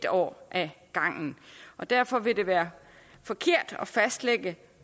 år ad gangen derfor vil det være forkert at fastlægge